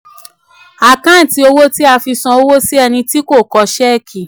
àkántì owó tí a fi san owó si ẹni tó kọ ṣẹ́ẹ̀kì.